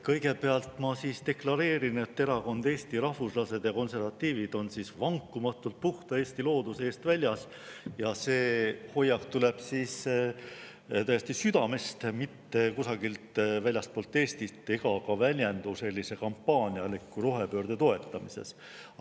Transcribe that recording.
Kõigepealt ma deklareerin, et Erakond Eesti Rahvuslased ja Konservatiivid on vankumatult puhta Eesti looduse eest väljas ja see hoiak tuleb täiesti südamest, mitte kusagilt väljastpoolt Eestit, ega väljendu sellise kampaanialiku rohepöörde toetamises.